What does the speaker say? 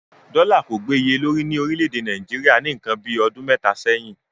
Dọ́là kò gbè iye lórí ní orílẹ̀-èdè Nàìjíríà ní ǹkan bíi ọdún mẹ́ta sẹ́yìn.